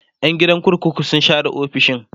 Yan gidan kurkukun sun share ofisoshin